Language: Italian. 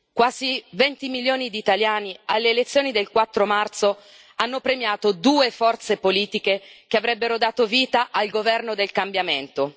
Quasi venti milioni di italiani, alle elezioni del 4 marzo, hanno premiato due forze politiche che avrebbero dato vita al governo del cambiamento.